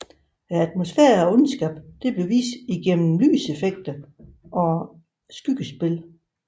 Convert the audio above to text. Atmosfæren og ondskab blev vist igennem lyseffekter og skyggespil